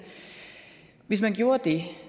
hvis man gjorde det